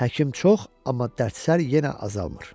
Həkim çox, amma dərdsər yenə azalmır.